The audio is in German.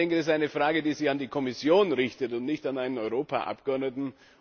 Das ist eine Frage, die sich an die Kommission richtet und nicht an einen Europaabgeordneten.